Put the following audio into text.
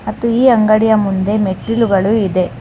ಮತ್ತು ಈ ಅಂಗಡಿಯ ಮುಂದೆ ಮೆಟ್ಟಿಲುಗಳು ಇವೆ.